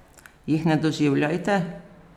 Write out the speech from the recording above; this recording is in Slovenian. Jih ne doživljajte?